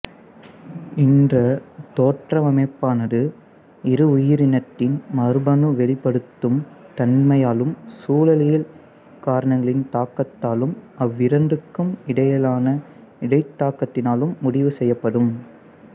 இந்த தோற்றவமைப்பானது ஒரு உயிரினத்தின் மரபணு வெளிப்படுத்தும் தன்மையாலும் சூழலியல் காரணிகளின் தாக்கத்தாலும் அவ்விரண்டுக்கும் இடையிலான இடைத்தாக்கத்தினாலும் முடிவு செய்யப்படும்